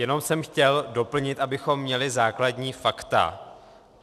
Jenom jsem chtěl doplnit, abychom měli základní fakta.